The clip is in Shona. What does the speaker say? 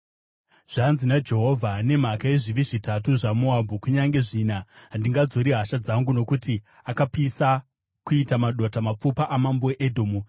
Zvanzi naJehovha: “Nemhaka yezvivi zvitatu zvaMoabhu, kunyange zvina, handingadzori hasha dzangu. Nokuti akapisa, kuita madota, mapfupa amambo weEdhomu.